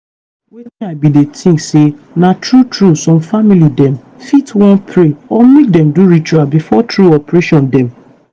wetin i bin dey think na say true true some family dem fit wan pray or make dem do ritual before true operation dem.